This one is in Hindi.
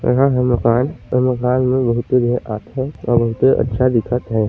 यहाँ हे मकान इ मकान में बहुत ही लोग आथे बहुते अच्छा दिखत हे।